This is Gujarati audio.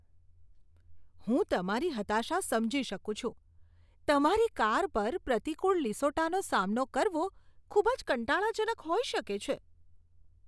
હું તમારી હતાશા સમજી શકું છું. તમારી કાર પર પ્રતિકૂળ લીસોટાનો સામનો કરવો ખૂબ જ કંટાળાજનક હોઈ શકે છે.